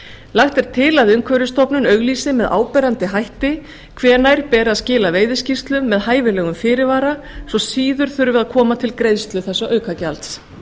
lagt er til að umhverfisstofnun auglýsi með áberandi hætti hvenær beri að skila veiðiskýrslum með hæfilegum fyrirvara svo síður þurfi að koma til greiðslu þessa aukagjalds